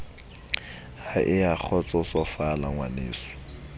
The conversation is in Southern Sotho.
ha e a kgotsosofala ngwaneso